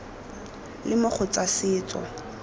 le mo go tsa setso